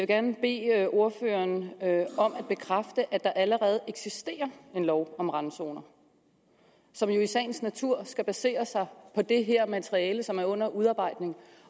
gerne bede ordføreren om at bekræfte at der allerede eksisterer en lov om randzoner som jo i sagens natur skal basere sig på det her materiale som er under udarbejdelse